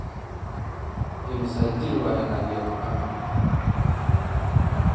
Immisa jir ah Nadia Mukami?